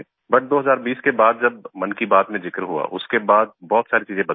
but 2020 के बाद जब मन की बात में जिक्र हुआ उसके बाद बहुत सारी चीज़े बदल गई